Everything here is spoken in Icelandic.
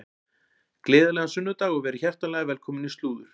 Gleðilegan sunnudag og verið hjartanlega velkomin í slúður.